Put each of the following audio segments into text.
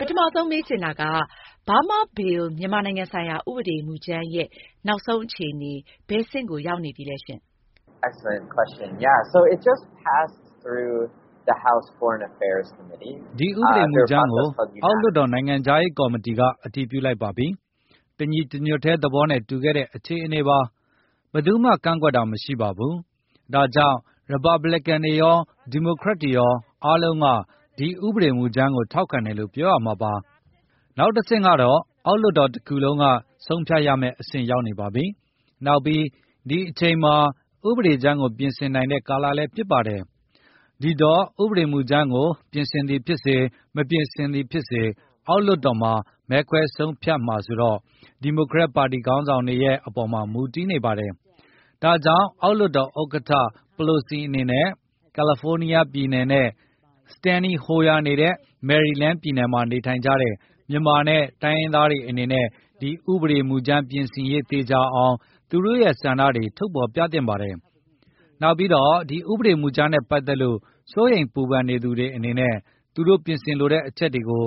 ပထမဆုံး မေးချင်တာကတော့ Burma Bill မြန်မာနိုင်ငံဆိုင်ရာ ဥပဒေမူကြမ်းရဲ့ နောက်ဆုံးအခြေအနေ ဘယ်အဆင့်ကို ရောက်နေပါပြီလဲ။ ဒီဥပဒေကြမ်းကို အောက်လွှတ်တော် နိုင်ငံခြားရေးကော်မတီက အတည်ပြုလိုက်ပါပြီ။ တညီတညွတ်တည်း သဘောတူခဲ့တဲ့ အခြေအနေပါ။ ဘယ်သူမှ ကန့်ကွက်တာမရှိပါဘူး။ ဒါကြောင့် ရီပါပလင်ကန် - Republican တွေရော၊ ဒီမိုကရက်တွေရော အားလုံးက ဒီဥပဒေကြမ်းကို ထောက်ခံတယ်လို့ ပြောရမှာပါ။ နောက်တဆင့်ကတော့ အောက်လွှတ်တော်တခုလုံးက ဆုံးဖြတ်ရမယ့် အဆင့်ရောက်နေပါပြီ။ နောက်ပြီး ဒီအချိန်မှာ ဥပဒေကြမ်းကို ပြင်ဆင်နိုင်တဲ့ကာလလည်း ဖြစ်ပါတယ်။ ဒီတော့ ဥပဒေမူကြမ်းကို ပြင်သည်ဖြစ်စေ၊ မပြင်သည်ဖြစ်စေ အောက်လွှတ်တော်မှာ မဲခွဲဆုံးဖြတ်မှာဆိုတော့ ဒီမိုကရက်ပါတီ ခေါင်းဆောင်တွေရဲ့အပေါ်မှာ မူတည်နေပါတယ်။ ဒါကြောင့် အောက်လွှတ်တော် ဥက္ကဌ Pelosi နေတဲ့ ကာလီဖိုးနီးယားပြည်နယ် ရဲ့ Steny Hoyer နေတဲ့ မေရီလန်းပြည်နယ် မှာ နေထိုင်ကြတဲ့ မြန်မာနဲ့ တိုင်းရင်းသားတွေအနေနဲ့ ဥပဒေကြမ်းပြင်ဆင်ရေးသေချာအောင် သူတို့ ဆန္ဒတွေ ထုတ်ဖေါ်ပြသသင့်ပါတယ်။ နောက်ပြီး ဒီဥပဒေမူကြမ်းနဲ့ ပတ်သက်လို့ စိုးရိမ်ပူပန်နေသူတွေအနေနဲ့ သူတို့ ပြင်ဆင်လိုတဲ့အချက်တွေကို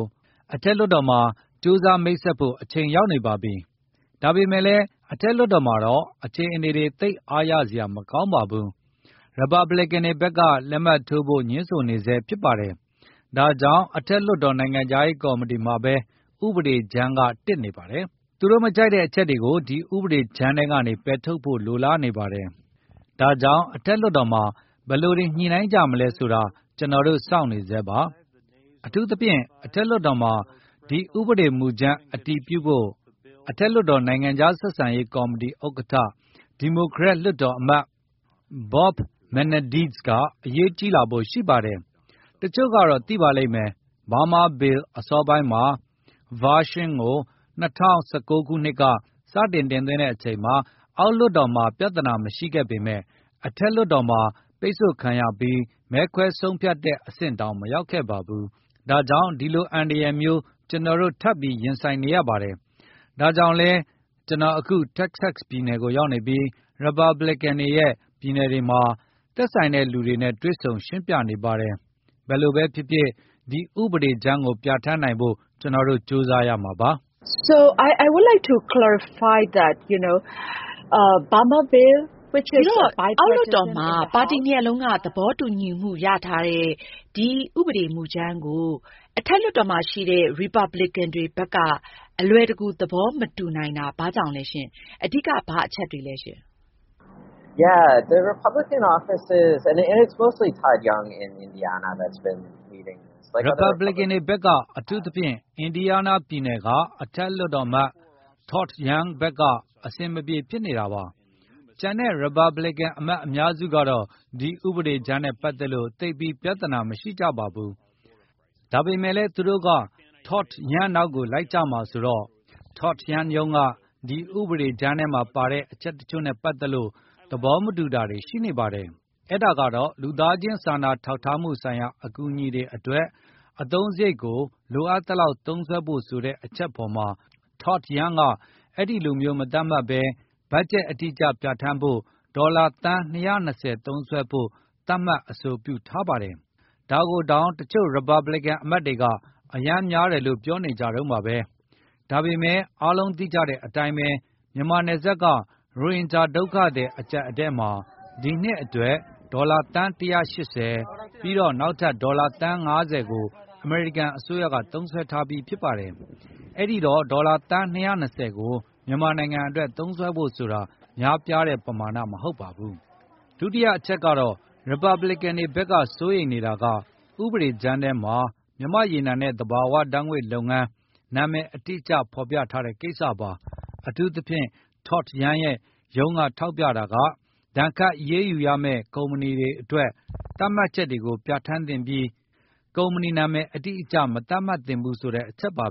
အထက်လွှတ်တော်မှာ ကြိုးစားမိတ်ဆက်ဖို့ အချိန်ရောက်နေပါပြီ။ ဒါပေမယ့်လည်း အထက်လွှတ်တော်မှာတော့ အခြေအနေတွေ သိပ်အားရစရာ မကောင်းပါဘူး။ ရီပါပလင်ကန်တွေဘက်က လက်မှတ်ထိုးဖို့ ငြင်းဆိုနေဆဲ ဖြစ်ပါတယ်။ ဒါကြောင့် အထက်လွှတ်တော် နိုင်ငံခြားရေးကော်မတီမှာပဲ ဥပဒေကြမ်းကတစ်နေပါတယ်။ သူတို့မကြိုက်တဲ့အချက်တွေကို ဒီဥပဒေကြမ်းထဲကနေ ဖယ်ထုတ်ဖို့ လိုလားနေပါတယ်။ ဒါကြောင့် အထက်လွှတ်တော်မှာ ဘယ်လိုတွေ ညှိုနှိုင်းကြမလဲဆိုတာ ကျနော်တို့ စောင့်နေဆဲပါ။ အထူးသဖြင့် အထက်လွှတ်တော်မှာ ဒီဥပဒေကြမ်း အတည်ပြုဖို့ အထက်လွှတ်တော် နိုင်ငံခြားဆက်ဆံရေး ကော်မတီ ဥက္ကဋ္ဌ ဒီမိုကရက်လွှတ်တော်အမတ် Bob Menendez က အရေးကြီးလာဖို့ ရှိပါတယ်။ တချို့ကတော့ သိပါလိမ့်မယ့်။ Burma Bill အစောပိုင်း ဗာရှင်းကို ၂၀၁၉ ခုနှစ်က စတင်တင်သွင်းခဲ့ချိန်မှာ အောက်လွှတ်တော်မှာ ပြဿနာ မရှိခဲ့ပေမဲ့၊ အထက်လွှတ်တော်မှာ ပိတ်ဆို့ခံရပြီး၊ မဲခွဲဆုံးဖြတ်တဲ့ အဆင့်တောင် မရောက်ခဲ့ပါဘူး။ ဒါကြောင့် ဒီလိုအန္တရာယ်မျိုး ကျနော်တို့ ထပ်ပြီးရင်ဆိုင်နေရပါတယ်။ ဒါကြောင့်လဲ ကျနော်အခု Texas ပြည်နယ်ကို ရောက်နေပြီး ရီပါပလင်ကန်တွေရဲ့ပြည်နယ်တွေမှာ သက်ဆိုင်တဲ့လူတွေနဲ့ တွေ့ဆုံရှင်းပြနေပါတယ်။ ဘယ်လိုပဲဖြစ်ဖြစ် ဒီဥပဒေကြမ်းကို ပြဌာန်းနိုင်ဖို့ ကျနော်တို့ ကြိုးစားရမှာဖြစ်ပါတယ်။ အောက်လွှတ်တော်မှာ ပါတီနှစ်ရပ်လုံးက သဘောတူညီမှုရထားတဲ့ ဒီဥပဒေမူကြမ်းကို အထက်လွှတ်တော်မှာရှိတဲ့ ရီပါပလင်ကန်တွေဘက်က အလွယ်တကူ သဘောမတူနိုင်ဖြစ်နေတာ ဘာကြောင့်လဲရှင့်။ အဓိက ဘာအချက်တွေလဲ။ ရီပါပလင်ကန်တွေဘက်က အထူးသဖြင့် အင်ဒီယားနားပြည်နယ်က အထက်လွှတ်တော်အမတ် Todd Young ဘက်က အဆင်မပြေ ဖြစ်နေတာပါ။ ကျန်တဲ့ ရီပါပလင်ကန် အမတ်အများစုကတော့ ဒီဥပဒေကြမ်းနဲ့ ပတ်သက်လို့ သိပ်ပြီးပြဿနာ မရှိကြပါဘူး။ ဒါပေမဲ့လဲ သူတို့က Todd Young နောက်ကို လိုက်ကြမှာဆိုတော့ Todd Young ရုံးက ဒီဥပဒေကြမ်းထဲမှာပါတဲ့ အချက်တချို့နဲ့ပတ်သက်လို့ သဘောမတူတာတွေရှိနေပါတယ်။ အဲဒါကတော့ လူသားချင်းစာနာထောက်ထားမှုဆိုင်ရာ အကူညီတွေအတွက် အသုံးစရိတ်ကို လိုအပ်သလောက် သုံးစွဲဖို့ဆိုတဲ့ အချက်အပေါ်မှာ Todd Young တို့က အဲဒီလိုမျိုး မသတ်မှတ်ပဲ ဘတ်ဂျက်အတိအကျ ပြဌာန်းဖို့ဆိုပြီး ဒေါ်လာ သန်း သုံးစွဲဖို့ သတ်မှတ်အဆိုပြုထားပါတယ်။ ဒါကိုတောင် တချို့ ရီပါပလင်ကန်အမတ်တွေက အရမ်းများတယ်လို့ ပြောနေကြတုန်းပဲ။ ဒါပေမဲ့ အားလုံးသိကြတဲ့အတိုင်းပဲ မြန်မာနယ်စပ်က ရိုဟင်ဂျာ ဒုက္ခသည် အကျပ်အတည်းမှာ ဒီနှစ်အတွက် ဒေါ်လာ သန်း ပြီးတော့ နောက်ထပ် ဒေါ်လာ သန်း ကို အမေရိကန်အစိုးရက သုံးစွဲထားပြီဖြစ်ပါတယ်။ အဲတော့ ဒေါ်လာ သန်း ကို မြန်မာနိုင်ငံအတွက် သုံးစွဲဖို့ဆိုတာ များပြားတဲ့ ပမာဏမဟုတ်ပါဘူး။ ဒုတိယအချက် ရီပါပလင်ကန်တွေဘက်က စိုးရိမ်နေတာက ဥပဒေကြမ်းထဲမှာ မြန်မာ့ရေနံနဲ့သဘာဝဓါတ်ငွေ့လုပ်ငန်း နာမည်အတိအကျ ဖေါ်ပြထားတဲ့ကိစ္စပါ။ အထူးသဖြင့်Todd Young ရဲ့ ရုံးကထောက်ပြနေတာက ဒဏ်ခတ်အရေးယူမယ့် ကုမ္ပဏီတွေအတွက် သတ်မှတ်ချက်တွေကိုပဲ ပြဌာန်းသင့်ပြီး ကုမ္ပဏီနာမည် အတိအကျ မသတ်မှတ်သင့်ဘူးဆိုတဲ့ အချက်ပါ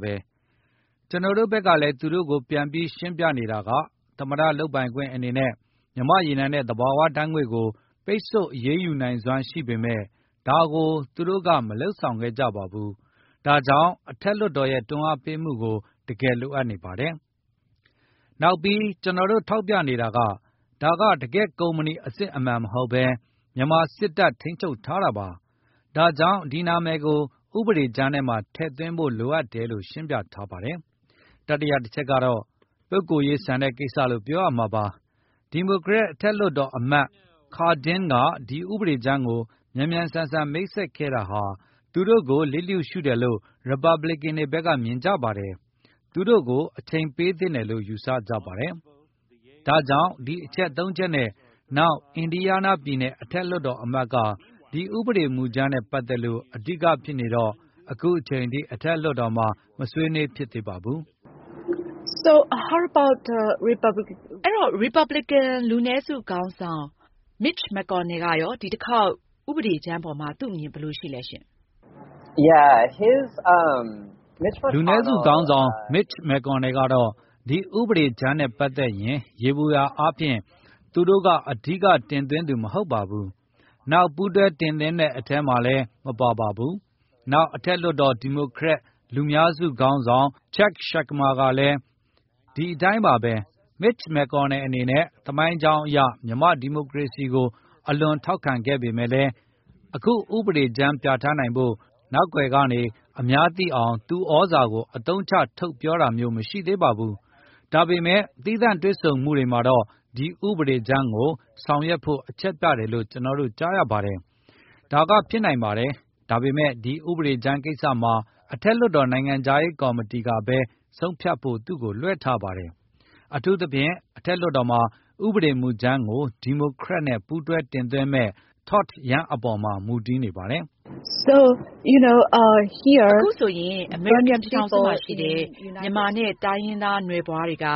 ။ ကျနော်တို့ဘက်ကလည်း သူတို့ကို ပြန်ပြီးရှင်းပြနေတာက သမ္မတလုပ်ပိုင်ခွင့်အနေနဲ့ မြန်မာရေနံနဲ့ သဘာဝဓါတ်ငွေကို ပိတ်ဆို့အရေးယူနိုင်စွမ်း ရှိပေမယ့်၊ ဒါကို သူတို့က မလုပ်ဆောင်ခဲ့ပါဘူး။ ဒါကြောင့် အထက်လွှတ်တော်ရဲ့ တွန်းအားပေးမှု တကယ်လိုအပ်နေပါတယ်။ နောက်ပြီး ကျနော်တို့ ထောက်ပြနေတာက ဒါက တကယ့်ကုမ္ပဏီအစစ်အမှန် မဟုတ်ဘဲ၊ မြန်မာစစ်တပ် ထိန်းချုပ်ထားတာပါ။ ဒါကြောင့် ဒီနာမည်ကို ဥပဒေကြမ်းထဲမှာ ထည့်သွင်းဖို့ လိုအပ်တယ်လို့ ရှင်းပြထားပါတယ်။ တတိယအချက်ကတော့ ပုဂ္ဂိုလ်ရေးဆန်တဲ့ကိစ္စလို့ ပြောရမှာပါ။ ဒီမိုကရက် အထက်လွှတ်တော်အမတ် Cardin က ဒီဥပဒကြမ်းကို မြန်မြန်ဆန်ဆန် မိတ်ဆက်ခဲ့တာဟာ သူတို့ကို လျစ်လျူရှူတယ်လို့ ရီပါပလင်ကန်တွေဘက်က မြင်ကြပါတယ်။ သူတို့ကို အချိန်ပေးသင့်တယ်လို့ ယူဆကြပါတယ်။ ဒါကြောင့် ဒီအချက်သုံးချက်နဲ့ နောက် အင်ဒီယားနားပြည်နယ် အထက်လွှတ်တော်အမတ်က ဒီဥပဒေကြမ်းနဲ့ ပတ်သက်လို့ အဓိကဖြစ်နေတော့ အခုချိန်ထိ အထက်လွှတ်တော်မှာ မဆွေးနွေးဖြစ်သေးပါဘူး။ ဒါဆို ရီပတ်ဘလီကန် လူနည်းစုခေါင်းဆောင် Mitch McConnell ကရော ဒီတခေါက် ဥပဒေကြမ်းပေါ်မှာ သူ့အမြင် ဘယ်လိုရှိလဲ။ လူနည်းစုခေါင်းဆောင် Mitch McConnell ကတော့ ဒီဥပဒေကြမ်းနဲ့ ပတ်သက်ရင် ယေဘုယျအားဖြင့်သူက အဓိက တင်သွင်းသူ မဟုတ်ပါဘူး။ နောက် ပူးတွဲတင်သွင်းတဲ့ အထဲမှာလည်း မပါပါဘူး။ နောက် အထက်လွှတ်တော် ဒီမိုကရက် လူများစုခေါင်းဆောင် Chuck Schumer လည်း ဒီအတိုင်းပါပဲ။ Mitch McConnell အနေနဲ့ သမိုင်းကြောင်းအရ မြန်မာ့ဒီမိုကရေစီရေးကို အလွန်ထောက်ခံခဲ့ပေမဲ့လည်း အခုဥပဒေကြမ်း ပြဌာန်းနိုင်ဖို့ နောက်ကွယ်ကနေ အများသိအောင် သူ့သြဇာကို အသုံးချ ထုတ်ပြောတာမျိုး မရှိသေးပါဘူး။ ဒါပေမဲ့ သီးသန့်တွေ့ဆုံမှုတွေမှာတော့ ဒီဥပဒေကြမ်းကို ရှေ့ဆောင်ဆောင်ရွက်ဖို့ အချက်ပြတယ်လို့ ကျနော်တို့ ကြားရပါတယ်။ ဒါကဖြစ်နိုင်ပါတယ်။ ဒါပေမယ့် ဒီဥပဒေကြမ်းကိစ္စမှာ အထက်လွှတ်တော် နိုင်ငံခြားရေးကော်မတီကပဲ ဆုံးဖြတ်ဖို့ သူက လွှဲထားပါတယ်။ အထူးသဖြင့် အထက်လွှတ်တော်မှာ ဒီဥပဒေမူကြမ်းကို ဒီမိုကရက်နဲ့ ပူးတွဲတင်သွင်းမယ့် Todd Young ပေါ်မှာ မူတည်နေပါတယ်။ အခုဆိုရင် အမေရိကန်ပြည်ထောင်စုမှာရှိတဲ့ မြန်မာနဲ့ တိုင်းရင်းသားနွယ်ဖွားတွေက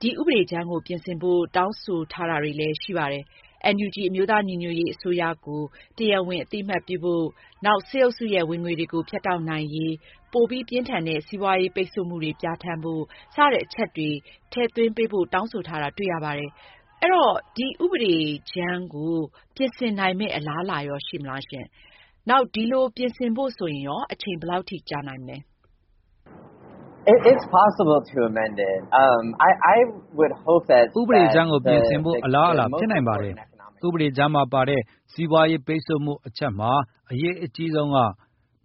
ဒီဥပဒေကြမ်းကို ပြင်ဆင်ဖို့ တောင်းဆိုနေတာတွေလည်း ရှိပါတယ်။ NUG အမျိုးသားညီညွတ်ရေးအစိုးရကို တရားဝင်အသိအမှတ်ပြုဖို့၊ စစ်အုပ်စုရဲ့ ဝင်ငွေတွေကို ဖြတ်တောက်နိုင်ရေး ပိုမိုပြင်းထန်တဲ့ စီးပွားရေး ပိတ်ဆို့မှုတွေ ပြဌာန်းဖို့ စတဲ့အချက်တွေ ထည့်သွင်းပေးဖို့ တောင်းဆိုထားတာ တွေ့ရပါတယ်။ ဆိုတော့ ဒီဥပဒေကြမ်းကို ပြင်ဆင်နိုင်မယ့် အလားအလာ ရှိမလား။ ဒီလို ပြင်ဆင်ဖို့ဆိုရင်ရော အချိန်ဘယ်လောက်ထိ ကြာနိုင်မလဲ။ ဥပဒေကြမ်းကို ပြင်ဆင်ဖို့ အလားအလာ ဖြစ်နိုင်ပါတယ်။ ဥပဒေကြမ်းမှာပါတဲ့ စီးပွားရေးပိတ်ဆို့မှုအချက်မှာ အရေးကြီးဆုံးက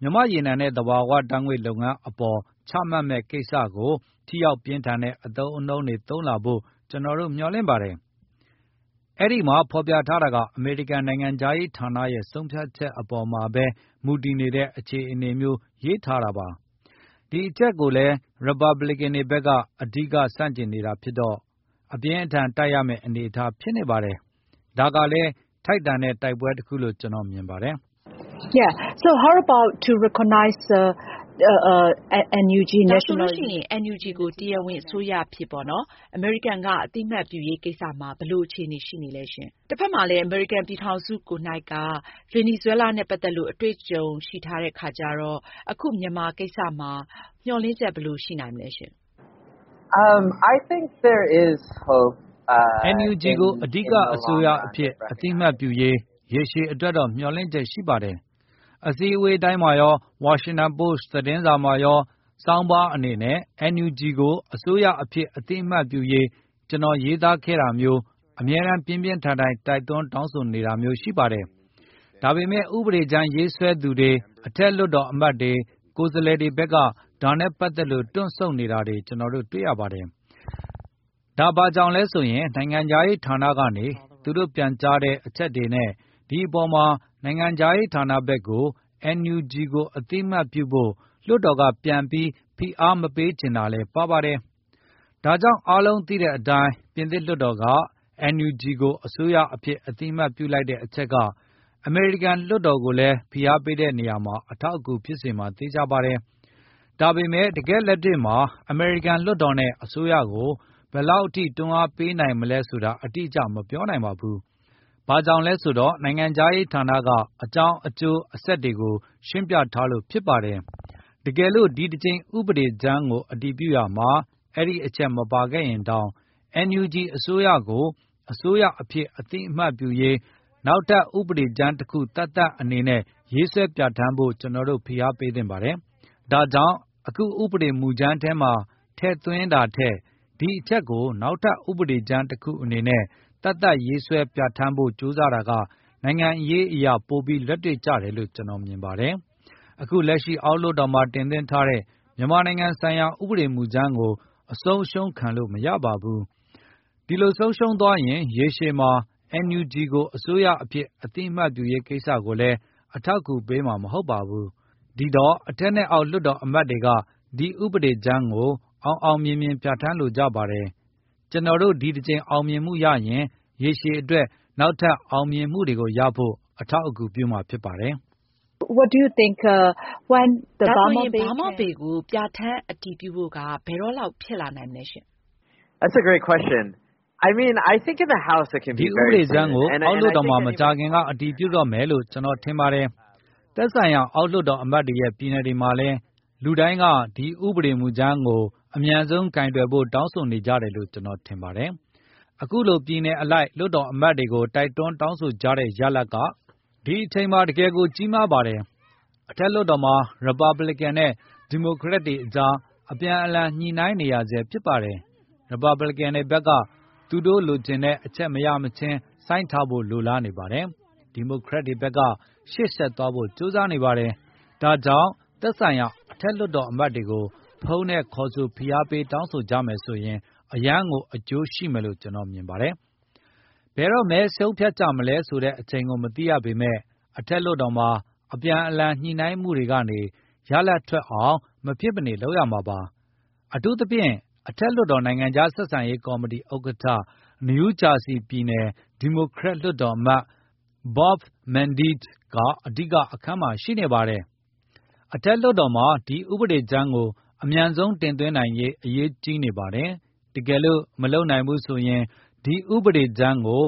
မြန်မာ့ရေနံနဲ့ သဘာဝဓါတ်ငွေ့လုပ်ငန်းအပေါ် ချမှတ်မယ့် ကိစ္စကို ထိရောက်ပြင်းထန်တဲ့ အသုံးအနှုန်းတွေ သုံးလာဖို့ ကျနော်တို့ မျှော်လင့်ပါတယ်။ အဲဒီမှာ ဖေါ်ပြထားတာက အမေရိကန်နိုင်ငံခြားရေးဌာနရဲ့ ဆုံးဖြတ်ချက်အပေါ်မှာပဲ မူတည်နေတဲ့ အခြေအနေမျိုး ရေးထားတာပါ။ ဒီအချက်ကိုလည်း ရီပါပလင်ကန်တွေဘက်က အဓိက ဆန့်ကျင်နေတာဖြစ်တော့ အပြင်းအထန် တိုက်ရမယ့်အနေအထား ဖြစ်နေပါတယ်။ ဒါကလည်း ထိုက်တန်တဲ့ တိုက်ပွဲတခုလို့ ကျနော် မြင်ပါတယ်။ ဒါဆိုရင် NUG ကို တရားဝင်အစိုးရအဖြစ် အမေရိကန်က အသိအမှတ်ပြုရေးကိစ္စမှာရော ဘယ်လို အခြေအနေ ရှိမလဲ။ အမေရိကန်ပြည်ထောင်စု ကိုယ်နှိုက် ဗင်နီဇွဲလားနဲ့ ပတ်သက်လို့ အတွေ့အကြုံ ရှိထားတဲ့အခါမှာ အခုမြန်မာကိစ္စမှာရော မျှော်လင့်ချက် ဘယ်လိုရှိနိုင်လဲ။ NUG ကို အစိုးရအဖြစ် အသိအမှတ်ပြုရေး ရေရှည်အတွက်တော့ မျှော်လင့်ချက်ရှိပါတယ်။ အစည်းအဝေးတိုင်းမှာရော၊ ဝါရှင်တန်ပို့စ် သတင်းစာမှာ ဆောင်းပါးအနေနဲ့ NUG ကို အစိုးရအဖြစ် အသိအမှတ်ပြုရေး ကျနော်ရေးသားခဲ့တာမျိုး အမြဲတမ်း ပြင်းပြင်းထန်ထန် တိုက်တွန်းတောင်းဆိုနေကြတာပါ။ ဒါပေမဲ့ ဥပဒေကြမ်းရေးဆွဲသူတွေ၊ အထက်လွှတ်တော်အမတ်တွေ၊ ကိုယ်စားလှယ်တွေဘက်က ဒါနဲ့ ပတ်သက်လို့ တွန့်ဆုတ်နေတာ ကျနော်တွေ့ရပါတယ်။ အဲဒါဘာကြောင့်လဲဆိုရင် နိုင်ငံခြားရေးဌာနကနေ သူတို့ ပြန်ကြားတဲ့ အချက်တွေနဲ့ ဒီအပေါ်မှာ နိုင်ငံခြားရေးဌာနဘက်ကို NUG ကိုအသိအမှတ်ပြုဖို့ လွှတ်တော်က ပြန်ပြီးဖိအားမပေးချင်တာလည်း ပါပါတယ်။ ဒါပေမဲ့ အားလုံးသိတဲ့အတိုင်း ပြင်သစ်လွှတ်တော်က NUG ကို အစိုးရအဖြစ် အသိအမှတ်ပြုလိုက်တဲ့ အချက်က အမေရိကန်လွှတ်တော်ကိုလည်း ဖိအားပေးတဲ့နေရာမှာ အထောက်အကူဖြစ်စေမှာ သေချာပါတယ်။ ဒါပေမဲ့ တကယ့်လက်တွေ့မှာ အမေရိကန်လွှတ်တော်နဲ့ အစိုးရကို ဘယ်လောက်ထိ တွန်းအားပေးနိုင်မလဲဆိုတာ အတိအကျ မပြောနိုင်ပါဘူး။ ဘာကြောင့်လဲဆိုတော့ နိုင်ငံခြားရေးဌာနက အကြောင်းအကျိုးဆက်တွေကို ရှင်းပြထားလို့ ဖြစ်ပါတယ်။ တကယ်လို့ ဒီတကြိမ် ဥပဒေကြမ်းကို အတည်ပြုရာမှာ အဲဒီအချက် မပါခဲ့ရင်တောင် NUG ကို အစိုးရအဖြစ် အသိအမှတ်ပြုရေး နောက်ထပ် ဥပဒေကြမ်းတခုသပ်သပ်အနေနဲ့ ရေးဆွဲပြဌာန်းဖို့ ကျနော်တို့ ဖိအားပေးသင့်ပါတယ်။ ဒါကြောင့် အခုဥပဒေမူကြမ်းထဲမှာ ထည့်သွင်းတာထက် ဒီအချက်ကို နောက်ထပ်ဥပဒေကြမ်းတခုအနေနဲ့ သတ်သတ်ရေးဆွဲပြဌာန်းဖို့ ကြိုးစားတာက နိုင်ငံရေးအရ ပိုပြီးလက်တွေ့ကျတယ်လို့ ကျနော်မြင်ပါတယ်။ အခုလက်ရှိ အောက်လွှတ်တော်မှာ တင်သွင်းထားတဲ့ မြန်မာနိုင်ငံဆိုင်ရာ ဥပဒေမူကြမ်းကို အဆုံးအရှုံးခံလို့ မရပါဘူး။ ဒီလိုရှုံးသွားရင် ရေရှည်မှာ NUG ကို အစိုးရအဖြစ် အသိအမှတ်ပြုရေးကိစ္စကိုလည်း အထောက်အကူ ပေးမှာ မဟုတ်ပါဘူး။ ဒီတော့ အထက်နဲ့ အောက်လွှတ်တော်အမတ်တွေက ဒီဥပဒေကြမ်းကို အောင်အောင်မြင်မြင် ပြဌာန်းလိုကြပါတယ်။ ကျနော်တို့ ဒီတကြိမ်အောင်မြင်မှုရရင် ရေရှည်အတွက် နောက်ထပ်အောင်မြင်မှုတွေရဖို့ အထောက်အကူပြုမှာ ဖြစ်ပါတယ်။ ဒါဆိုရင် Burma Bill ကို ပြဌာန်းအတည်ပြုဖို့ ဘယ်တော့လောက် ဖြစ်နိုင်မလဲ။ ဒီဥပဒေကြမ်းကို အောက်လွှတ်တာ်မှာ မကြာခင်အတည်ပြုတော့မယ်လို့ ကျနော်ထင်ပါတယ်။ သက်ဆိုင်ရာ အောက်လွှတ်တော်အမတ်တွေရဲ့ ပြည်နယ်တွေမှာလည်း လူတိုင်းက ဒီဥပဒေမူကြမ်းကို အမြန်ဆုံး ကိုင်တွယ်ဖို့ တောင်းဆိုနေကြတယ်လို့ ကျနော်ထင်ပါတယ်။ အခုလို ပြည်နယ်အလိုက် လွှတ်တော်အမတ်တွေကို တိုက်တွန်းတောင်းဆိုကြတဲ့ ရလဒ်က ဒီအချိန်မှာ တကယ့်ကို ကြီးမားပါတယ်။ အထက်လွှတ်တော်မှာတော့ ရီပါပလင်ကန်နဲ့ ဒီမိုကရက်တွေကြား အပြန်အလှန် ညှိုနှိုင်းနေရဆဲ ဖြစ်ပါတယ်။ ရီပါပလင်ကန်တွေဘက်က သူတို့လိုချင်တဲ့အချက် မရမချင်း ဆိုင်းထားဖို့ လိုလားနေပါတယ်။ ဒီမိုကရက်တွေဘက်က ရှေ့ဆက်သွားဖို့ ကြိုးစားနေပါတယ်။ ဒါကြောင့် သက်ဆိုင်ရာ အထက်လွှတ်တော်အမတ်တွေကို ဖုန်းနဲ့ခေါ်ဆို ဖိအားပေးတောင်းဆိုကြမယ်ဆိုရင် အရမ်းကို အကျိုးရှိမယ်လို့ ကျနော်မြင်ပါတယ်။ ဘယ်တော့ မဲပေးဆုံးဖြတ်ကြမလဲဆိုတဲ့ အချိန်ကို မသိရပေမဲ့ အထက်လွှတ်တော်မှာ အပြန်အလှန် ညှိုနှိုင်းမှုတွေကနေ ရလဒ်ထွက်အောင် မဖြစ်မနေလုပ်ရမှာပါ။ အထူးသဖြင့် အထက်လွှတ်တော် နိုင်ငံခြားဆက်ဆံရေးကော်မတီ ဥက္ကဋ္ဌ နယူးဂျာစီပြည်နယ် ဒီမိုကရက်လွှတ်တော်အမတ် Bob Menendez က အဓိက အခန်းကဏ္ဍမှာ ရှိနေတာပါ။ အထက်လွှတ်တော်မှာ ဒီဥပဒေကြမ်းကို အမြန်ဆုံးတင်သွင်းနိုင်ရေး အရေးကြီးနေပါတယ်။ တကယ်လို့ မလုပ်နိုင်ဘူးဆိုရင် ဒီဥပဒေကြမ်းကို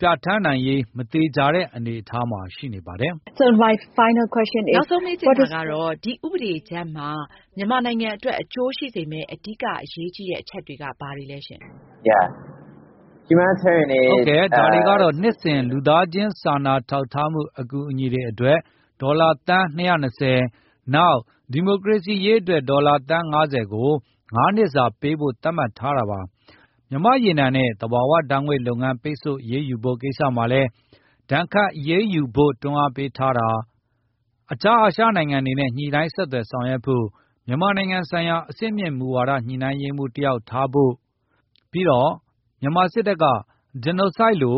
ပြဌာန်းနိုင်ရေး မသေချာတဲ့ အနေအထားမှာ ရှိနေပါတယ်။ နောက်ဆုံးမေးချင်တာကတော့ ဒီဥပဒေကြမ်းမှာ မြန်မာနိုင်ငံအတွက် အကျိုးရှိစေမယ့် အဓိက အရေးကြီးတဲ့ အချက်တွေက ဘာတွေလဲရှင်။ ဟုတ်ကဲ့။ ဒါတွေကတော့ နှစ်စဉ် လူသားချင်း စာနာထောက်ထားမှု အကူအညီအတွက် ဒေါ်လာ သန်း နောက် ဒီမိုကရေစီရေးအတွက် ဒေါ်လာ သန်း ကို ငါးနှစ်စာ ပေးဖို့ သတ်မှတ်ထားတာ၊ မြန်မာ့ရေနံနဲ့ သဘာဝဓါတ်ငွေ့လုပ်ငန်း ပိတ်ဆို့အရေးယူဖို့ကိစ္စမှာ အနည်းဆုံး ဒဏ်ခတ်အရေးယူဖို့ တွန်းအားပေးထားတာ၊ အခြားအာရှနိုင်ငံတွေနဲ့ ညှိုနှိုင်းဆက်သွယ်ဆောင်ရွက်ဖို့ မြန်မာနိုင်ငံဆိုင်ရာ အဆင့်မြင့် မူဝါဒညှိုနှိုင်းရေးမှူးတယောက် ထားဖို့၊ ပြီးတော့ မြန်မာစစ်တပ်ဟာ Genocide လူ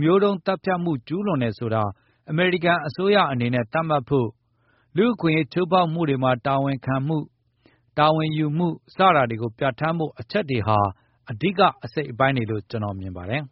မျိုးတုန်းသတ်ဖြတ်မှု ကျူးလွန်တယ်ဆိုတာ အမေရိကန်အစိုးရအနေနဲ့ သတ်မှတ်ဖို့၊ လူ့အခွင့်အရေး ချိုးဖောက်မှုတွေမှာ တာဝန်ခံမှု၊ တာဝန်ယူမှု စတာတွေကို ပြဌာန်းဖို့ အချက်တွေဟာ အဓိကအစိတ်အပိုင်းတွေလို ကျနော် မြင်ပါတယ်